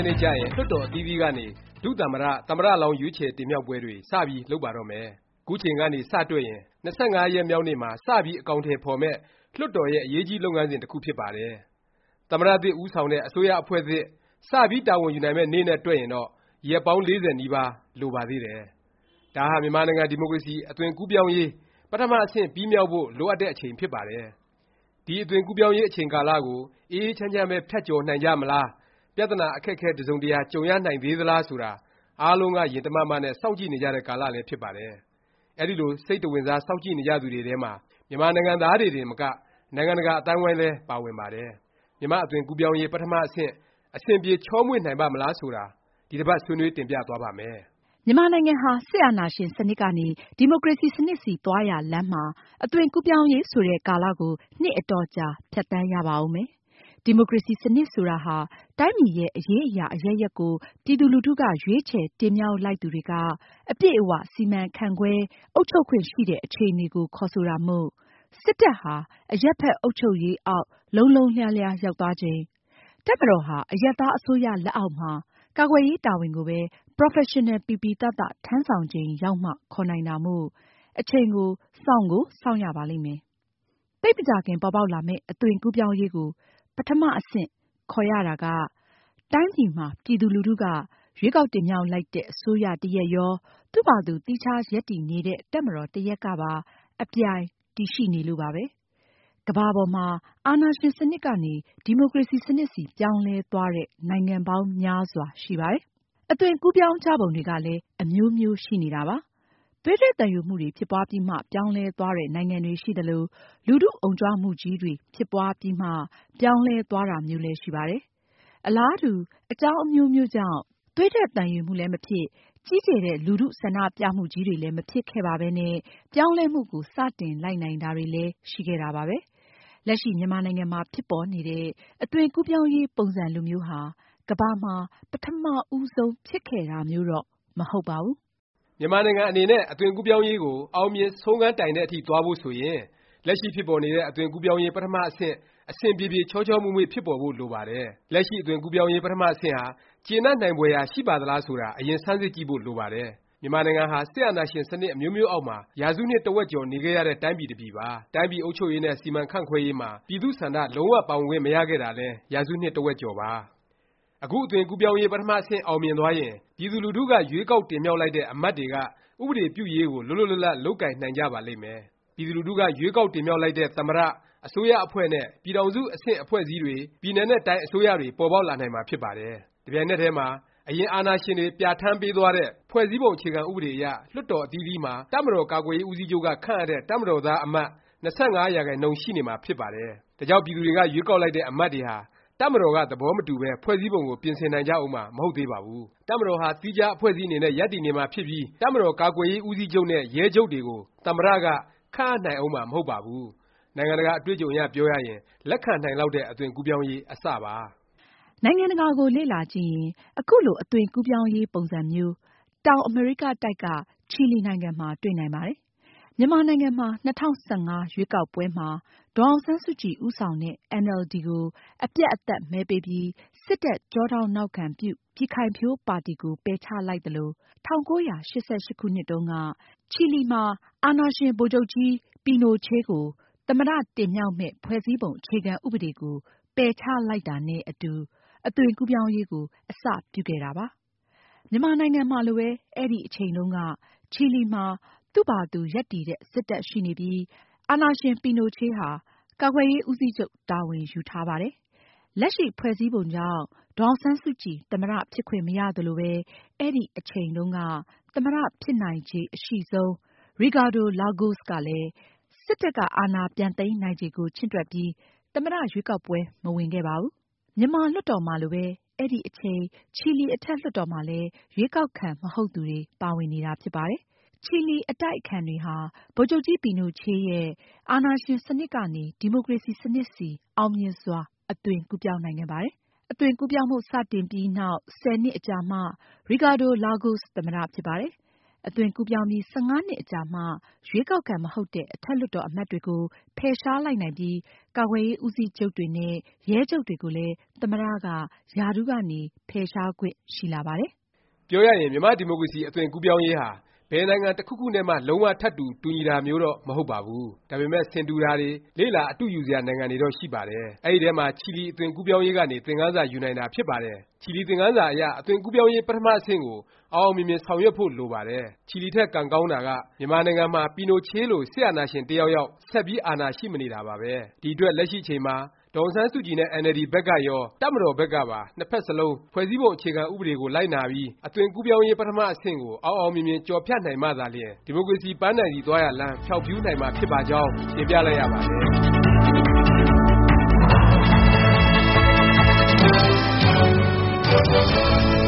က်နေ့ကျရင် လွှတ်တော် အသီးသီးကနေ ဒုသမ္မတ၊ သမ္မတ လောင်း ရွေးချယ် တင်မြှောက်ပွဲတွေ စ ပြီး လုပ်ပါတော့မယ်။ ခုအချိန်ကနေ စ တွက်ရင် ၂၅ ရက်မြောက်နေ့မှာ စ ပြီး အကောင်အထည် ဖော်မယ့် လွှတ်တော်ရဲ့ အရေးကြီး လုပ်ငန်းစဉ် တစ်ခု ဖြစ်ပါတယ်။ သမ္မတသစ် ဦးဆောင်တဲ့ အစိုးရ အဖွဲ့သစ် စ ပြီးတာဝန်ယူနိုင်မယ့် နေ့နဲ့ တွက်ရင်တော့ ရက်ပေါင်း ၄၀ နီးပါးလိုပါသေးတယ်။ ဒါဟာ မြန်မာနိုင်ငံ ဒီမိုကရေစီ အသွင်ကူးပြောင်းရေး ပထမ အဆင့် ပြီးမြောက်ဖို့ လိုအပ်တဲ့ အချိန်ဖြစ်ပါတယ်။ ဒီ အသွင်ကူးပြောင်းရေး အချိန်ကာလကို အေးအေးချမ်းချမ်းပဲ ဖြတ်ကျော်နိုင်ကြမလား၊ ပြသနာ အခက် အခဲ တစ်စုံတစ်ရာ ကြုံရနိုင်သေးသလား ဆိုတာ အားလုံးက ရင်တမမ နဲ့ စောင့်ကြည့်နေကြတဲ့ ကာလလည်း ဖြစ်ပါတယ်။ အဲဒီလို စိတ်တဝင်စား စောင့်ကြည့်နေကြသူတွေထဲမှာ မြန်မာနိုင်ငံသားတွေတင်ကမ နိုင်ငံတကာ အသိုင်းအဝိုင်းလည်း ပါဝင်ပါတယ်။ မြန်မာ့ အသွင်ကူးပြောင်းရေး ပထမ အဆင့် အဆင်ပြေ ချောမွေ့နိုင်ပါ့မလား ဆိုတာ ဒီတစ်ပါတ် ဆွေးနွေး တင်ပြသွားပါ့မယ်။ မြန်မာနိုင်ငံဟာ စစ်အာဏာရှင် စနစ်ကနေ ဒီမိုကရေစီ စနစ်ဆီ သွားရာလမ်းမှာ အသွင်ကူးပြောင်းရေး ဆိုတဲ့ ကာလကို နှစ်အတော်ကြာ ဖြတ်သန်းရပါဦးမယ်။ ဒီမိုကရေစီ စနစ် ဆိုတာဟာ တိုင်းပြည်ရဲ့ အရေးအရာ အရပ်ရပ်ကို ပြည်သူလူထုက ရွေးချယ် တင်မြှောက်လိုက်သူတွေက အပြည့်အ၀ စီမံခန့်ခွဲ၊ အုပ်ချုပ်ခွင့် ရှိတဲ့ အခြေအနေကို ခေါ်ဆိုတာမို့၊ စစ်တပ်ဟာ အရပ်ဘက် အုပ်ချုပ်ရေး အောက် လုံးလုံးလျားလျား ရောက်သွားချိန်၊ တပ်မတော်ဟာ အရပ်သား အစိုးရ လက်အောက်မှာ ကာကွယ်ရေး တာဝန်ကိုပဲ ပရော်ဖက်ရှင်နယ် ပီပီသသ ထမ်းဆောင်ချိန် ရောက်မှ ခေါ်နိုင်တာမို့ အချိန် စောင့်ကို စောင့်ရပါလိမ့်မယ်။ သိပ်မကြာခင် ပေါ်ပေါက်လာမယ့် အသွင်ကူးပြောင်းရေးကို ပထမ အဆင့် ခေါ်ရတာကတိုင်းပြည်မှာ ပြည်သူလူထုက ရွေးကောက်တင်မြှောက်လိုက်တဲ့ အစိုးရ တစ်ရပ်ရော၊ သူ့ဖာသာသူ သီးခြား ရပ်တည်နေတဲ့ တပ်မတော် တစ်ရပ်ကပါ အပြိုင် တည်ရှိနေလို့ပဲ ဖြစ်ပါတယ်။ ကမ္ဘာပေါ်မှာ အာဏာရှင်စနစ်ကနေ ဒီမိုကရေစီ စနစ်ဆီ ပြောင်းလဲသွားတဲ့ နိုင်ငံပေါင်းများစွာ ရှိပါတယ်။ အသွင်ကူးပြောင်းကြပုံတွေကလည်း အမျိုးမျိုး ရှိနေပါတယ်။ သွေးထွက်သံယိုမှုတွေ ဖြစ်ပွားပြီးမှ ပြောင်းလဲသွားတဲ့ နိုင်ငံတွေ ရှိသလို၊ လူထု အုံကြွမှုကြီးတွေ ဖြစ်ပွားပြီးမှ ပြောင်းလဲသွားတာမျိုးလည်း ရှိပါတယ်။ အလားတူ အကြောင်းအမျိုးမျိုးကြောင့် သွေးထွက်သံယိုမှုလည်း မဖြစ်၊ ကြီးကျယ်တဲ့ လူထု ဆန္ဒပြမှုကြီးတွေလည်း မဖြစ်ခဲ့ပါပဲနဲ့ ပြောင်းလဲမှုကို စတင်လိုက်နိုင်တာတွေလည်း ရှိခဲ့တာပါပဲ။ လက်ရှိ မြန်မာနိုင်ငံမှာ ဖြစ်ပေါ်နေတဲ့ အသွင်ကူးပြောင်းရေး ပုံစံလိုမျိုးဟာ ကမ္ဘာမှာ ပထမ ဦးဆုံး ဖြစ်ခဲ့တာမျိုးတော့ မဟုတ်ပါဘူး။ မြန်မာနိုင်ငံအနေနဲ့ အသွင်ကူးပြောင်းရေးကို အောင်မြင် ဆုံးခန်းတိုင်တဲ့အထိ သွားဖို့ ဆိုရင် လက်ရှိ ဖြစ်ပေါ်နေတဲ့ အသွင်ကူးပြောင်းရေး ပထမ အဆင့် အဆင်ပြေပြေ ချောချောမွေ့မွေ့ ဖြစ်ပေါ်ဖို့ လိုပါတယ်။ လက်ရှိ အသွင်ကူးပြောင်းရေး ပထမ အဆင့်ဟာ ကျေနပ်နိုင်ဖွယ်ရာ ရှိပါသလား ဆိုတာ အရင် ဆန်းစစ်ကြည့်ဖို့ လိုပါတယ်။ မြန်မာနိုင်ငံဟာ စစ်အာဏာရှင် စနစ် အမျိုးမျိုးအောက်မှာ ရာစုနှစ် တစ်ဝက်ကျော် နေခဲ့ရတဲ့ တိုင်းပြည် တစ်ပြည်ပါ။ တိုင်းပြည်အုပ်ချုပ်ရေးနဲ့ စီမံခန့်ခွဲရေးမှာ ပြည်သူ့ဆန္ဒ လုံး၀ ပါဝင်ခွင့် မရခဲ့တာလည်း ရာစုနှစ် တစ်ဝက်ကျော်ပါ။ အခု အသွင်ကူးပြောင်းရေး ပထမ အဆင့် အောင်မြင်သွားရင် ပြည်သူလူထုက ရွေးကောက်တင်မြှောက်လိုက်တဲ့ အမတ်တွေက ဥပဒေပြုရေးကို လွတ်လွတ်လပ်လပ် လုပ်ကိုင်နိုင်ကြပါလိမ့်မယ်။ ပြည်သူလူထုက ရွေးကောက်တင်မြှောက်လိုက်တဲ့ သမ္မတ၊ အစိုးရအဖွဲ့နဲ့ ပြည်ထောင်စု အဆင့် အဖွဲ့အစည်းတွေ၊ ပြည်နယ်နဲ့ တိုင်း အစိုးရတွေ ပေါ်ပေါက်လာနိုင်မှာ ဖြစ်ပါတယ်။ တစ်ပြိုင်နက်တည်းမှာ အရင်အာဏာရှင်တွေ ပြဌာန်းပေးသွားတဲ့ ဖွဲ့စည်းပုံ အခြေခံ ဥပဒေအရ လွှတ်တော် အသီးသီးမှာ တပ်မတော်ကာကွယ်ရေး ဦးစီးချုပ်က ခန့်အပ်တဲ့ တပ်မတော်သား အမတ် ၂၅ ရာခိုင်နှုန်း ရှိနေမှာ ဖြစ်ပါတယ်။ ဒါကြောင့် ပြည်သူတွေ ရွေးကောက်လိုက်တဲ့ အမတ်တွေဟာ တပ်မတော်က သဘောမတူပဲ ဖွဲ့စည်းပုံကို ပြင်ဆင်နိုင်ကြဦးမှာ မဟုတ်ပါဘူး။ တပ်မတော်ဟာ သီးခြား အဖွဲ့အစည်းအနေနဲ့ ရပ်တည်နေမှာ ဖြစ်ပြီး တပ်မတော် ကာကွယ်ရေးဦးစီးချုပ်နဲ့ ရဲချုပ်တွေကို သမ္မတ ခန့်အပ်နိုင်ဦးမှာ မဟုတ်ပါဘူး။ နိုင်ငံတကာ အတွေ့အကြုံအရ ပြောရရင် လက်ခံနိုင်လောက်တဲ့ အသွင်ကူးပြောင်းရေး အစ ပါ။ နိုင်ငံတကာကို လေ့လာကြည့်ရင် ခုလို အသွင်ကူးပြောင်းရေး ပုံစံမျိုး တောင်အမေရိကတိုက်က ချီလီနိုင်ငံမှာ တွေ့နိုင်ပါတယ်။ မြန်မာနိုင်ငံမှာ ၂၀၁၅ ရွေေးကာက်ပွဲမှာ ဒေါ်အောင်ဆန်းစုကြည် ဦးဆောင်တဲ့ အင်န်အယ်လ်ဒီ ကို အပြတ်အသတ် မဲပေးပြီး စစ်တပ်ကျောထောက်နောက်ခံပြု ပြည်ခိုင်ဖြိုးပါတီ ကို ပယ်ချလိုက်သလို၊ ၁၉၈၈ တုန်းက ချီလီမှာ အာဏာရှင် ဗိုလ်ချုပ်ကြီး ပီနိုချေးကို သမ္မတ တင်မြှောက်မယ့် ဖွဲ့စည်းပုံ အခြေခံဥပဒေကို ပယ်ချလိုက်တာနဲ့ အတူ အသွင်ကူးပြောင်းရေးကို အစ ပြုခဲ့တာ ဖြစ်ပါတယ်။ မြန်မာနိုင်ငံမှာလိုပဲ အဲဒီ အချိန်တုန်းက ချီလီမှာ သူ့ဖာသာသူ ရပ်တည်တဲ့ စစ်တပ် ရှိနေပြီး အာဏာရှင် ပီနိုချေးဟာ ကာကွယ်ရေး ဦးစီးချုပ် တာဝန်ယူထားပါတယ်။ လက်ရှိ ဖွဲ့စည်းပုံကြောင့် ဒေါ်အောင်ဆန်းစုကြည် သမ္မတ ဖြစ်ခွင့်မရသလိုပဲ အဲဒီအချိန်တုန်းက သမ္မတ ဖြစ်နိုင်ချေ အရှိဆုံး ရီကာဒို လာဂို့စ် ကလည်း စစ်တပ်က အာဏာပြန်သိမ်းနိုင်ခြေကို ချင့်တွက်ပြီး သမ္မတ ရွေးကောက်ပွဲ မဝင်ခဲ့ပါဘူး။ မြန်မာ့လွှတ်တော်မှာလိုပဲ အဲဒီအချိန် ချီလီ အထက်လွှတ်တော်မှာလည်း ရွေးကောက်ခံ မဟုတ်သူတွေ ပါဝင်နေတာ ဖြစ်ပါတယ်။ ချီလီ အတိုက်အခံတွေဟာ ဗိုလ်ချုပ်ကြီး ပီနိုချေးရဲ့ အာဏာရှင် စနစ်ကနေ ဒီမိုကရေစီ စနစ်ဆီ အောင်မြင်စွာ အသွင်ကူးပြောင်းနိုင်ခဲ့ပါတယ်။ အသွင်ကူးပြောင်းမှု စတင်ပြီး နောင် ၁၀ နှစ်ကြာမှ ရီကာဒို လာဂို့စ် သမ္မတ ဖြစ်ပါတယ်။ အသွင်ကူးပြောင်းပြီး ၁၅ နှစ်အကြာမှာ ရွေးကောက်ခံ မဟုတ်တဲ့ အထက်လွှတ်တော် အမတ်တွေကို ဖယ်ရှားလိုက်နိုင်ပြီး၊ ကာကွယ်ရေး ဦးစီးချုပ်တွေနဲ့ ရဲချုပ်တွေကိုလည်း သမ္မတ က ရာထူးကနေ ဖယ်ရှားခွင့် ရှိလာပါတယ်။ ပြောရရင် မြန်မာ့ဒီမိုကရေစီ အသွင်ကူးပြောင်းရေးဟာ ဘယ်နိုင်ငံ တစ်ခုခုနဲ့မှ လုံး၀ ထပ်တူ တူညီတာမျိုးတော့ မဟုတ်ပါဘူး။ ဒါပေမယ့် ဆင်တူတာတွေ၊ လေ့လာ အတုယူစရာ နိုင်ငံတွေတော့ ရှိပါတယ်။ အဲဒီထဲမှာ ချီလီ အသွင်ကူးပြောင်းရေးကနေ သင်ခန်းစာ ယူနိုင်တာ ဖြစ်ပါတယ်။ ချီလီသင်ခန်းစာ အရ အသွင်ကူးပြောင်းရေး ပထမ အဆင့်ကို အောင်အောင်မြင်မြင် ဆောင်ရွက်ဖို့ လိုပါတယ်။ ချီလီထက် ကံကောင်းတာက မြန်မာနိုင်ငံမှာ ပီနိုချေးလို စစ်အာဏာရှင် တစ်ယောက်ယောက် ဆက်ပြီး အာဏာရှိမနေတာပါပဲ။ ဒီအတွက် လက်ရှိ အချိန်မှာ ဒေါ်အောင်ဆန်းစုကြည်နဲ့ အင်န်အယ်လ်ဒီ ဘက်ကရော၊ တပ်မတော်ဘက်ကပါ နှစ်ဖက်စလုံး ဖွဲ့စည်းပုံ အခြေခံ ဥပဒေကို လိုက်နာပြီး အသွင်ကူးပြောင်းရေး ပထမ အဆင့်ကို အောင်အောင်မြင်မြင် ကျော်ဖြတ်နိုင်မှသာလျင် ဒီမိုကရေစီ ပန်းတိုင်ဆီ သွားရာလမ်း ဖြောင့်ဖြူးနိုင်မှာ ဖြစ်ပါကြောင်း တင်ပြလိုက်ရပါတယ်